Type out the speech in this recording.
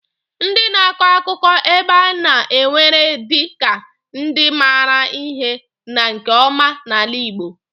Ndị na-akọ akụkọ ebe a na-ewere dị ka ndị maara ihe na nke ọma n'ala igbo.